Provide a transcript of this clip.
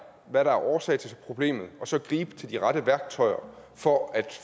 hvad der er årsag til problemet og så gribe til de rette værktøjer for at